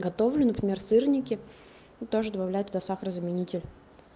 готовлю например сырники тоже добавляю туда сахарозаменитель